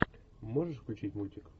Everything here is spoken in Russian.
можешь включить мультик